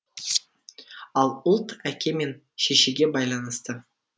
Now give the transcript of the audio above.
ал ұлт әке мен шешеге байланысты